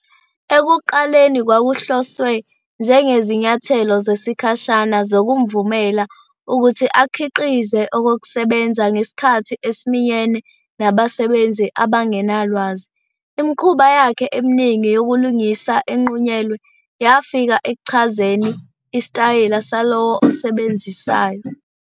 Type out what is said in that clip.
Ekuqaleni kwakuhloswe njengezinyathelo zesikhashana zokumvumela ukuthi akhiqize okokusebenza ngesikhathi esiminyene nabasebenzi abangenalwazi, imikhuba yakhe eminingi yokulingisa enqunyelwe yafika ekuchazeni isitayela salowo osebenzisayo.